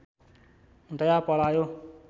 दया पलायो